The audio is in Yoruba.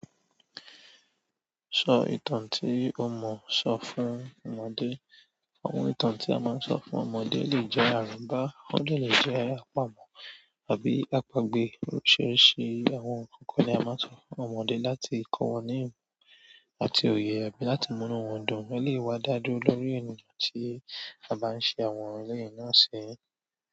Sọ ìtàn tí ọmọ sọ fún ọmọdé. Àwọn ìtàn tí a máa ń sọ fún ọmọdé lè jẹ́ àrọbá, wọ́n lè jẹ́ àpamọ́ àbí àpagbè. Oríṣiríṣi àwọn nǹkan ni a máa ń sọ fún ọmọdé láti kọ́ wọn ní ìmọ̀ àti òye bí láti múnú wọn dùn, ó lè wá dá dúró lórí ènìyàn tí a bá ń ṣe àwọn eleyi náà sí.